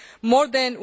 more than